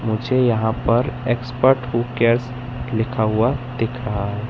मुझे यहां पर एक्सपर्ट लिखा हुआ दिख रहा है।